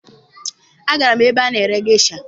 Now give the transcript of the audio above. Agara m ebe a na-ere gesha